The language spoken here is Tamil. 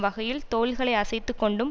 வகையில் தோள்களை அசைத்துக்கொண்டும்